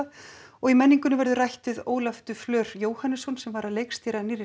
og í menningunni verður rætt við Ólaf de Jóhannesson sem leikstýrði